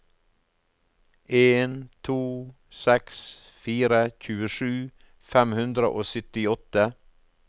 en to seks fire tjuesju fem hundre og syttiåtte